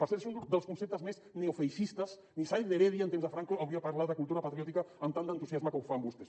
per cert és un dels conceptes més neofeixistes ni sáenz de heredia en temps de franco hauria parlat de cultura patriòtica amb tant d’entusiasme com ho fan vostès